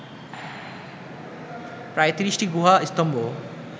প্রায় ৩০টি গুহা স্তম্ভ